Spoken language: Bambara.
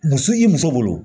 Muso i muso bolo